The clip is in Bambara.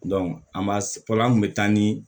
an b'a fɔlɔ an kun bɛ taa ni